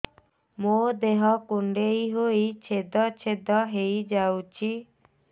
ମୋ ଦେହ କୁଣ୍ଡେଇ ହେଇ ଛେଦ ଛେଦ ହେଇ ଯାଉଛି